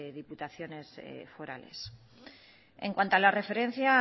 diputaciones forales en cuanto a la referencia a